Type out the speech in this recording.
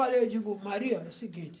Aí eu digo, Maria, é o seguinte.